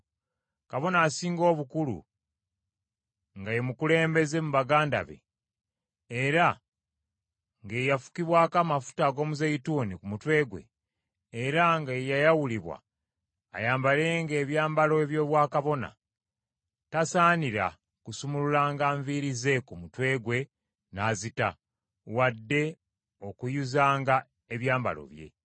“Kabona Asinga Obukulu, nga ye mukulembeze mu baganda be, era nga ye yafukibwako amafuta ag’omuzeeyituuni ku mutwe gwe, era nga yayawulibwa ayambalenga ebyambalo by’Obwakabona, tasaanira kusumululanga nviiri ze ku mutwe gwe n’azita, wadde okuyuzanga ebyambalo bye.